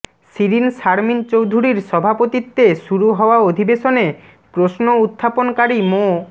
শিরীন শারমিন চৌধুরীর সভাপতিত্বে শুরু হওয়া অধিবেশনে প্রশ্ন উত্থাপনকারী মো